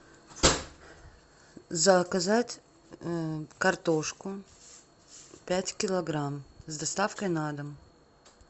заказать картошку пять килограмм с доставкой на дом